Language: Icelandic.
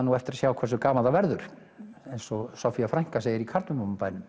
nú eftir að sjá hversu gaman það verður eins og Soffía frænka segir í